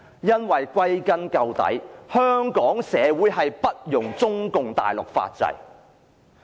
因為歸根究底，香港社會不容中共大陸法制。